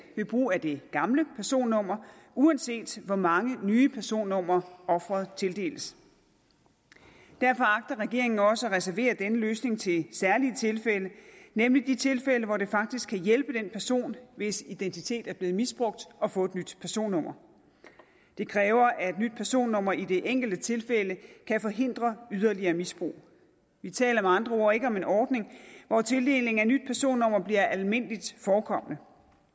ved brug af det gamle personnummer uanset hvor mange nye personnumre offeret tildeles derfor agter regeringen også at reservere denne løsning til særlige tilfælde nemlig de tilfælde hvor det faktisk kan hjælpe den person hvis identitet er blevet misbrugt at få et nyt personnummer det kræver at et nyt personnummer i det enkelte tilfælde kan forhindre yderligere misbrug vi taler med andre ord ikke om en ordning hvor tildelingen af et nyt personnummer bliver almindeligt forekommende